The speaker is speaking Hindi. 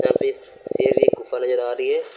शेर की गुफा नजर आ रही है।